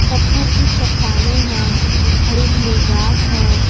पत्थर की चट्टानें हैं हरी भरी घास है।